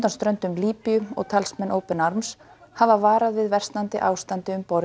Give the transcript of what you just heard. ströndum Líbíu og talsmenn open arms hafa varað við versnandi ástandi um borð